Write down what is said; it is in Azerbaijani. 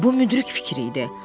Bu müdrik fikir idi.